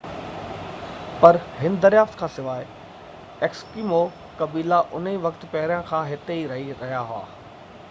پر هن دريافت کانسواءِ ايسڪيمو قبيلا انهي وقت پهريان کان ئي هتي رهي رهيا هئا